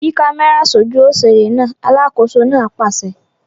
Yí kámẹ́rà sójú òṣèré náà! Alákòóso náà pàṣẹ.